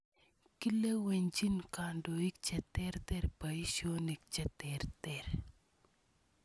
Kilewenchin kandoik che terter poisyonik che terter.